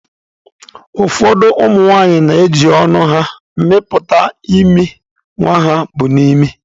Ụfọdụ ụmụ nwanyị na-eji ọnụ ha amịpụta imi nwa ha bu n'imi.